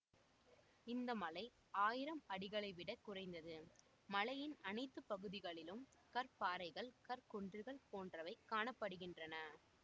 இந்த மலை ஆயிரம் அடிகளைவிடக் குறைந்தது மலையின் அனைத்து பகுதிகளிலும் கற்பாறைகள் கற்குன்றுகள் போன்றவை காணப்படுகிண்றன